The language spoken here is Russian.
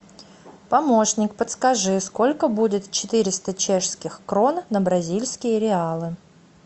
помощник подскажи сколько будет четыреста чешских крон на бразильские реалы